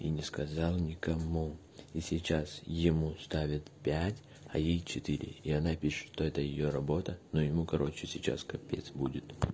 и не сказал ни кому и сейчас ему ставят пять а ей четыре и она пишет что это её работа но ему короче сейчас капец будет